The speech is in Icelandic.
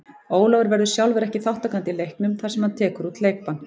Ólafur verður sjálfur ekki þátttakandi í leiknum þar sem hann tekur út leikbann.